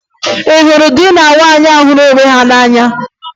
Ị hụrụ di na nwunye ahụ hụrụ onwe ha n'anya?